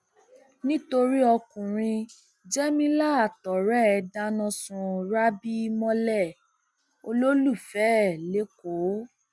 nítorí ọkùnrin jémilà àtọrẹ ẹ dáná sun rábì mọlẹ olólùfẹ ẹ lẹkọọ